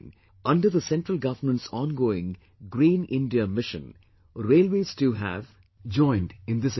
Under the central government's ongoing 'Green India Mission', Railways too have joined in this endeavour